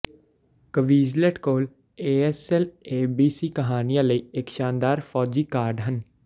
Quizlet ਕੋਲ ASL A B C ਕਹਾਨੀਆਂ ਲਈ ਇੱਕ ਸ਼ਾਨਦਾਰ ਫੌਜੀ ਕਾਰਡ ਹਨ